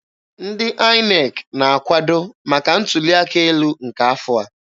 Ndị INEC na-akwado maka ntuli aka elu nke afọ a.